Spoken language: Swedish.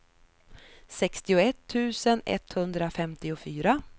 sextioett tusen etthundrafemtiofyra